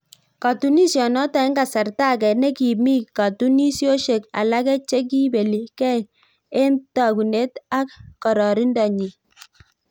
Katunisiot notok eng kasartaa age nekimii katunisiosiek alake chekipelii gei eng tagunet ak kararanindoo nyii